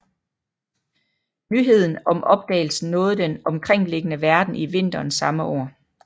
Nyheden om opdagelsen nåede den omkringliggende verden i vinteren samme år